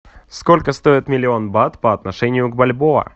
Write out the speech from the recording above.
сколько стоит миллион бат по отношению к бальбоа